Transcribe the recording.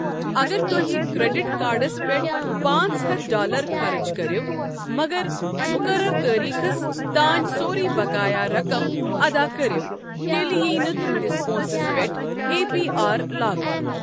اگر تہۍ credit cards پیٚٹھٕ پانٛژ ہتھ ڈالر خرٕچ کٔرِو مگر مُقرر تٲریٖخس تانۍ سورُے بقایا رَقم اَدا کٔرِو، تیٚلہ ییہ نہٕ تُہٕنٛدِس پونٛسس پیٚٹھ اے پی آر لاگنہٕ۔